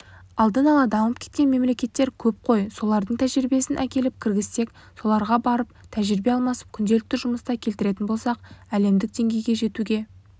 алда дамып кеткен мемлекеттер көп қой солардың тәжірибесін әкеліп кіргізсек соларға барып тәжірибе алмасып күнделікті жұмыста келтіретін болсақ әлемдік деңгейге жетуге